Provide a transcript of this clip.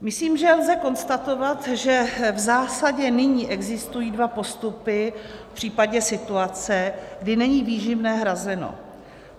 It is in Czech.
Myslím, že lze konstatovat, že v zásadě nyní existují dva postupy v případě situace, kdy není výživné hrazeno.